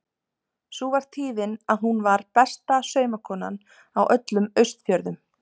Sú var tíðin að hún var besta saumakonan á öllum Austfjörðum.